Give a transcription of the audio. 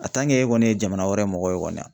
kɔni ye jamana wɛrɛ mɔgɔw kɔni wa!